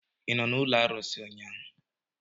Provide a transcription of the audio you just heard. ị nọ n'ụlọ arụsị ụnyahụ?